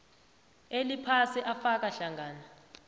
eliphasi afaka hlangana